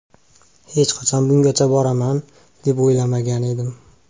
Hech qachon bungacha boraman, deb o‘ylamagan edim.